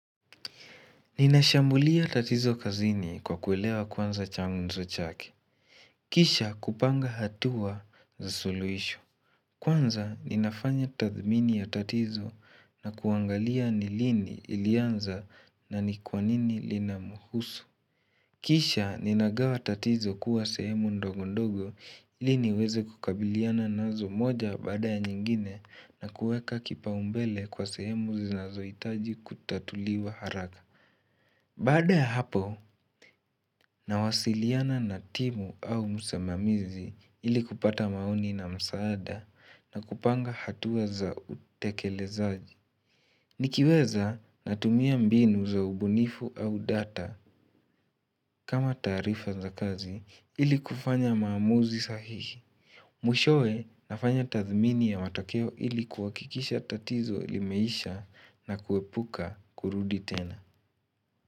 Ninashambulia tatizo kazini kwa kuelewa kwanza changunzo chake. Kisha kupanga hatua za suluisho. Kwanza ninafanya tathmini ya tatizo na kuangalia ni lini ilianza na ni kwa nini linamuhusu. Kisha ninagawa tatizo kuwa sehemu ndogo ndogo, iliniweze kukabiliana nazo, moja baada ya nyingine na kuweka kipao mbele kwa sehemu zinazoitaji kutatuliwa haraka. Baada ya hapo, nawasiliana na timu au msimamizi ili kupata maoni na msaada. Na kupanga hatuweza utekelezaji. Nikiweza natumia mbinu za ubunifu au data. Kama taarifa za kazi ili kufanya maamuzi sahihi. Mwishowe nafanya tathmini ya matakeo ili kuakikisha tatizo limeisha na kuepuka kurudi tena.